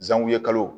Zangu ye kalo